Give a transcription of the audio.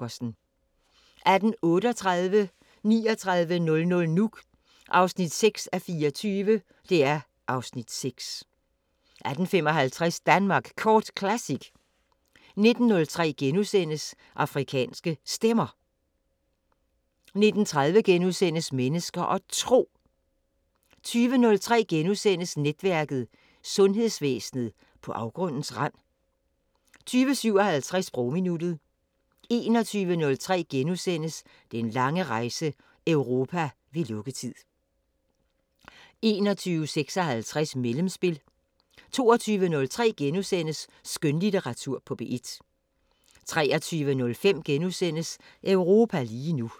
18:38: 3900 Nuuk (6:24) (Afs. 6) 18:55: Danmark Kort Classic 19:03: Afrikanske Stemmer * 19:30: Mennesker og Tro * 20:03: Netværket: Sundhedsvæsenet på afgrundens rand? * 20:57: Sprogminuttet 21:03: Den lange rejse – Europa ved lukketid * 21:56: Mellemspil 22:03: Skønlitteratur på P1 * 23:05: Europa lige nu *